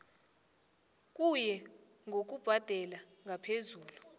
kuye ngokubhadela ngaphezulu